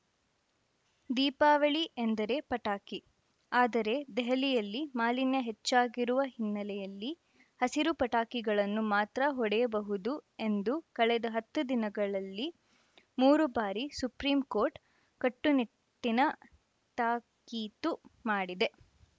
ದೀಪಾವಳಿ ಎಂದರೇ ಪಟಾಕಿ ಆದರೆ ದೆಹಲಿಯಲ್ಲಿ ಮಾಲಿನ್ಯ ಹೆಚ್ಚಾಗಿರುವ ಹಿನ್ನೆಲೆಯಲ್ಲಿ ಹಸಿರು ಪಟಾಕಿಗಳನ್ನು ಮಾತ್ರ ಹೊಡೆಯಬಹುದು ಎಂದು ಕಳೆದ ಹತ್ತು ದಿನಗಳಲ್ಲಿ ಮೂರು ಬಾರಿ ಸುಪ್ರೀಂಕೋರ್ಟ್‌ ಕಟ್ಟುನಿಟ್ಟಿನ ತಾಕೀತು ಮಾಡಿದೆ